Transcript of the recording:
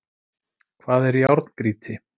Hvað er járngrýti?